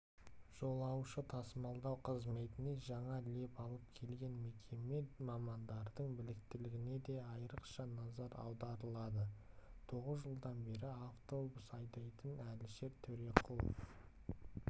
жолаушы тасымалдау қызметіне жаңа леп алып келген мекемеде мамандардың біліктілігіне де айрықша назар аударылады тоғыз жылдан бері автобус айдайтын әлішер төреқұлов